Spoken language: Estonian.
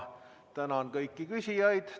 Tänan kõiki küsijaid!